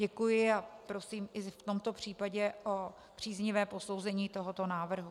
Děkuji a prosím i v tomto případě o příznivé posouzení tohoto návrhu.